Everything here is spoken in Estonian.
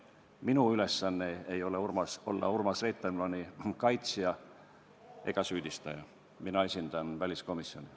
Minu ülesanne ei ole olla Urmas Reitelmanni kaitsja ega süüdistaja, mina esindan väliskomisjoni.